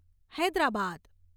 Hyderabad